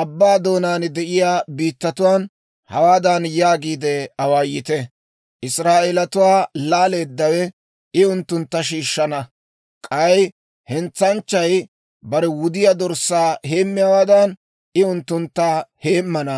abbaa doonaan de'iyaa biittatuwaan hawaadan yaagiide awaayite; ‹Israa'eelatuwaa laaleeddawe I unttuntta shiishshana; k'ay hentsanchchay bare wudiyaa dorssaa heemmiyaawaadan, I unttuntta heemmana›